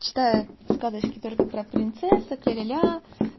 читают сказочки только про принцессок ляля